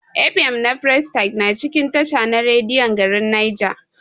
F.M na prestige na cikin tasha na rediyon garin Nija.